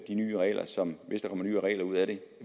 nye regler som hvis der kommer nye regler ud af det